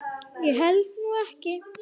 Ég held nú ekki!